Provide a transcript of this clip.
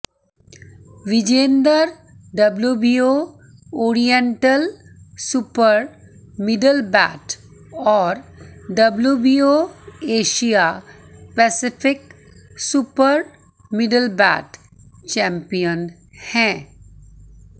Vijender WBO oriental super middleweight और WBO Asia Pacific super middleweight champion हैं